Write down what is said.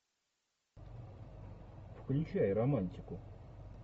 включай романтику